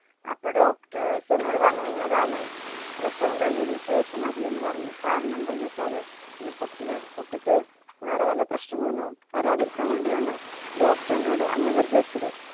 അപ്പോ doctors എന്നോട് പറഞ്ഞിരുന്ന് ഏതായാലും പ്രസവം കഴിഞ്ഞതിനു ശേഷം മതിയെന്ന് പറഞ്ഞു. കാരണം എന്താന്ന് വെച്ചാല് ഇനിയും കുട്ടികൾ കുട്ടിക്ക് വേറെ വല്ല പ്രശ്നങ്ങൾ ഒന്നും വരാതിരിക്കാൻ വേണ്ടിയാണ് doctor എന്നോട് അങ്ങനെ നിർദ്ദേശിച്ചത്.